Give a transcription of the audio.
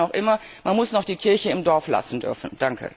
Aber ich meine auch immer, man muss noch die Kirche im Dorf lassen dürfen.